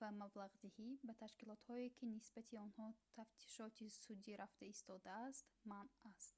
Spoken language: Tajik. ва маблағдиҳӣ ба ташкилотҳое ки нисбати онҳо тафтишоти судӣ рафта истодааст манъ аст